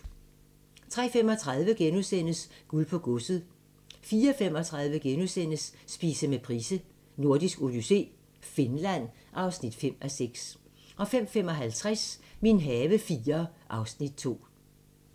03:35: Guld på godset * 04:35: Spise med Price: Nordisk Odyssé - Finland (5:6)* 05:55: Min have IV (Afs. 2)